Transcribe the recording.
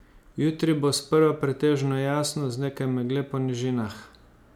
Jutri bo sprva pretežno jasno z nekaj megle po nižinah.